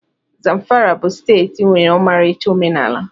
Zamfara bụ steeti nwere ọmarịcha omenala.